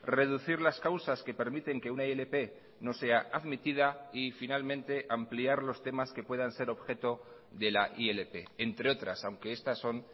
reducir las causas que permiten que una ilp no sea admitida y finalmente ampliar los temas que puedan ser objeto de la ilp entre otras aunque estas son